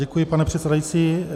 Děkuji, pane předsedající.